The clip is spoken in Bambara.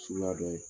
Suguya dɔ ye